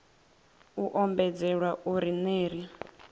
u ombedzelwa uri ner i